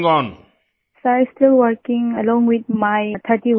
Vijayashanti ji sir still working along with my 30 women